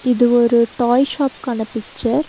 இது ஒரு toy shop கட பிச்சர் .